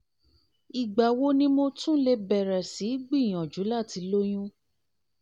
ìgbà wo ni mo tún lè bẹ̀rẹ̀ sí í gbìyànjú láti lóyún?